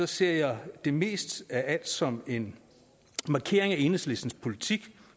ser jeg det mest af alt som en markering af enhedslistens politik